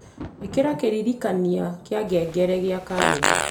ĩkĩra kĩririkania kĩa ngengere gĩa karenda